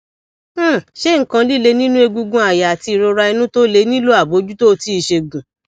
um ṣé nkan lile ninu egungun aya ati irora inu to le nilo abojuto ti isegun